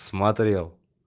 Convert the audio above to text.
смотрел